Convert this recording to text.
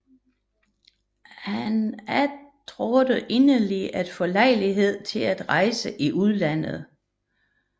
Han attråede inderligt at få lejlighed til at rejse i udlandet